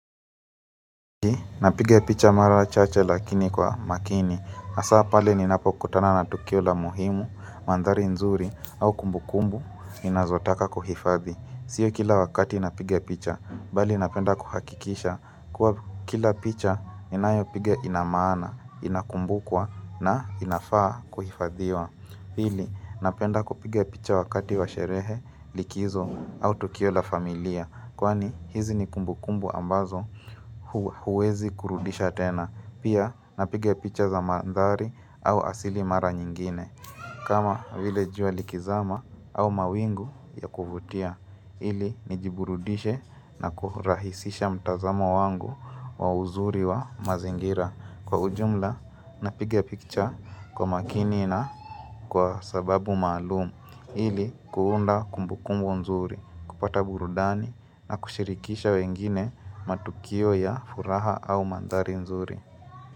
Napiga picha mara chache lakini kwa makini hasa pale ninapokutana na tukio la muhimu, mandhari nzuri au kumbukumbu Ninazotaka kuhifadhi Sio kila wakati napiga picha bali napenda kuhakikisha kuwa kila picha ninayo piga ina maana, inakumbukwa na inafaa kuhifadhiwa pili napenda kupiga picha wakati wa sherehe, likizo au tukio la familia Kwani hizi ni kumbukumbu ambazo huwezi kurudisha tena Pia napiga picha za mandhari au asili mara nyingine kama vile jua likizama au mawingu ya kuvutia ili nijiburudishe na kurahisisha mtazamo wangu wa uzuri wa mazingira Kwa ujumla napiga picha kwa makini na kwa sababu maalum ili kuunda kumbukumbu nzuri kupata burudani na kushirikisha wengine matukio ya furaha au mandhari nzuri.